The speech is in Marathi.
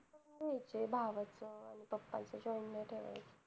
भावाचं आणि papa च joint नाही ठेवायचं